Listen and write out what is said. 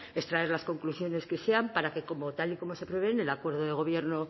extraer las conclusiones que sean para que como tal y como se prevé en el acuerdo de gobierno